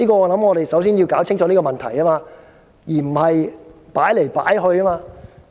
我們首先要釐清這個問題，而不是左搖右擺。